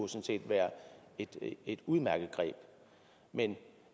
være et udmærket greb men